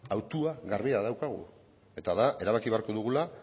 hautua garbia daukagu eta da erabaki beharko dugula